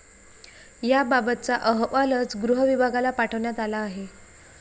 याबाबतचा अहवालच गृहविभागाला पाठवण्यात आला आहे.